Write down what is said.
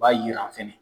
B'a jira fɛnɛ